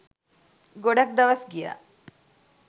ගොඩක් දවස් ගියා.